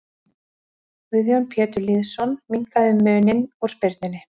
Guðjón Pétur Lýðsson minnkaði muninn úr spyrnunni.